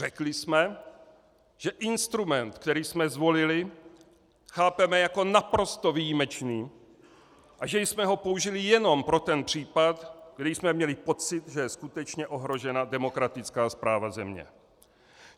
Řekli jsme, že instrument, který jsme zvolili, chápeme jako naprosto výjimečný a že jsme ho použili jenom pro ten případ, kdy jsme měli pocit, že je skutečně ohrožena demokratická správa země.